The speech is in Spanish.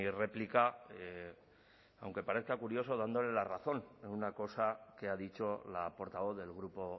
réplica aunque parezca curioso dándole la razón en una cosa que ha dicho la portavoz del grupo